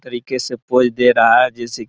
तरीके से पोज़ दे रहा है जैसे --